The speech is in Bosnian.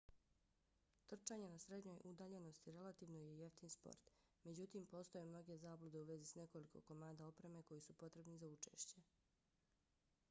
trčanje na srednjoj udaljenosti relativno je jeftin sport. međutim postoje mnoge zablude u vezi s nekoliko komada opreme koji su potrebni za učešće